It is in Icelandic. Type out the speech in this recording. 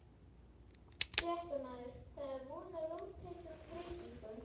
Fréttamaður: Það er von á róttækum breytingum?